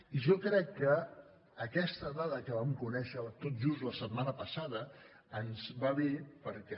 i jo crec que aquesta dada que vam conèixer tot just la setmana passada ens va bé perquè